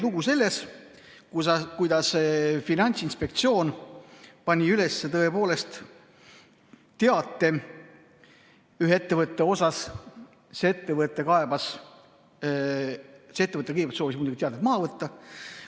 Lugu oli sellest, kuidas Finantsinspektsioon pani üles teate ühe ettevõtte kohta ja see ettevõte soovis muidugi teate maha võtta.